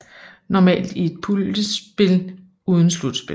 Normalt i et puljespil uden slutspil